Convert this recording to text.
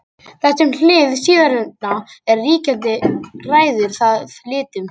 þar sem hið síðarnefnda er ríkjandi ræður það litnum